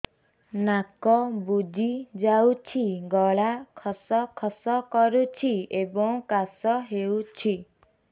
ନାକ ବୁଜି ଯାଉଛି ଗଳା ଖସ ଖସ କରୁଛି ଏବଂ କାଶ ହେଉଛି